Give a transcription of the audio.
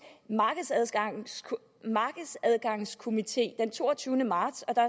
markedsadgangskomité den toogtyvende marts og der